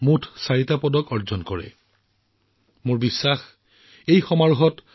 ছত্তীশগড়ৰ দুৰ্গ নিবাসী অনুৰাগ প্ৰসাদে ভাৰোত্তোলনত তিনিটা স্বৰ্ণ আৰু এটা ৰূপৰ পদক লাভ কৰিবলৈ সক্ষম হৈছে